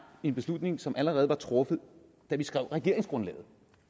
en beslutning som allerede var truffet da vi skrev regeringsgrundlaget